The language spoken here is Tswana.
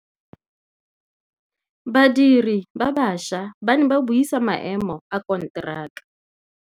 Badiri ba baša ba ne ba buisa maêmô a konteraka.